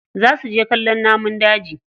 Za su je kallon namun daji.